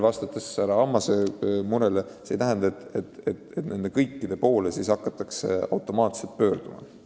Vastates härra Ammase murelikule küsimusele ma kinnitan, et see ei tähenda seda, et kõikide nende noorte poole hakatakse automaatselt pöörduma.